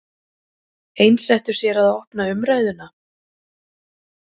Einsettu sér að opna umræðuna